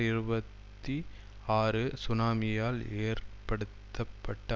இருபத்தி ஆறு சுனாமியால் ஏற்படுத்தப்பட்ட